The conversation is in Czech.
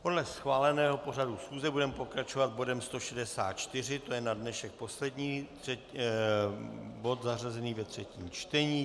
Podle schváleného pořadu schůze budeme pokračovat bodem 164, to je na dnešek poslední bod zařazený ve třetím čtení.